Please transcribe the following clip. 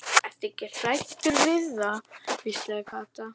Ertu ekkert hræddur við það? hvíslaði Kata.